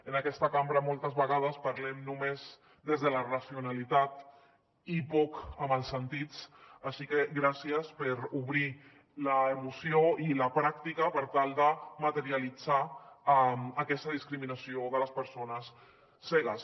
en aquesta cambra moltes vegades parlem només des de la racionalitat i poc amb els sentits així que gràcies per obrir l’emoció i la pràctica per tal de materialitzar aquesta discriminació de les persones cegues